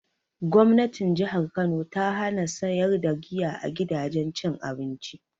Gwamnatin jihar kano ta hana sayar da giya a gidajen cin abinci